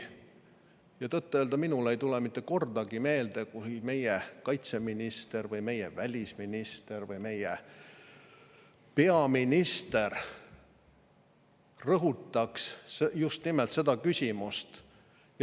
Ja tõtt-öelda, minule ei tule meelde mitte ühtegi korda, et meie kaitseminister või meie välisminister või meie peaminister oleks rõhutanud just nimelt seda küsimust.